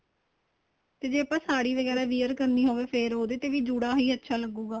ਤੇ ਜੇ ਆਪਾਂ ਸਾੜੀ ਵਗੈਰਾ wear ਕਰਨੀ ਹੋਵੇ ਫ਼ੇਰ ਉਹਦੇ ਤੇ ਹੀ ਜੂੜਾ ਹੀ ਅੱਛਾ ਲੱਗੂਗਾ